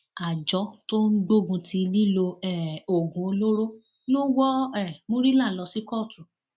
àjọ tó ń gbógun ti lílo um oògùn olóró lọ wọ um murila lọ sí kóòtù